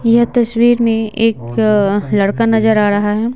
यह तस्वीर में एक लड़का नजर आ रहा है।